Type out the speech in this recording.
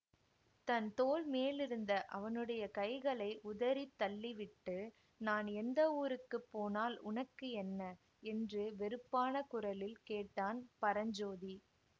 தன் தோள் மேலிருந்த அவனுடைய கைகளை உதறி தள்ளிவிட்டு நான் எந்த ஊருக்கு போனால் உனக்கு என்ன என்று வெறுப்பான குரலில் கேட்டான் பரஞ்சோதி